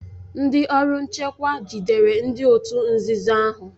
Ndị ọrụ nchekwa jidere ndị òtù nzuzo ahụ